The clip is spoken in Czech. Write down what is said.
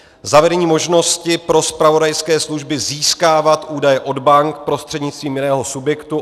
Zavedení možnosti pro zpravodajské služby získávat údaje od bank prostřednictvím jiného subjektu.